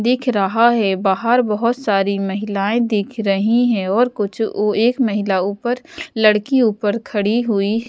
दिख रहा है बाहर बहुत सारी महिलाएं दिख रही हैं और कुछ एक महिला ऊपर लड़की ऊपर खड़ी हुई--